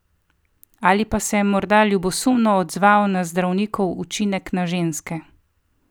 Ali pa se je morda ljubosumno odzval na zdravnikov učinek na ženske?